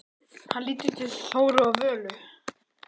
Hann lítur til Þóru og Völu.